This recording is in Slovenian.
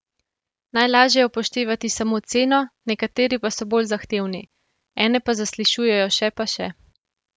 Najlažje je upoštevati samo ceno, nekateri pa so bolj zahtevni: 'Ene pa zaslišujejo še pa še.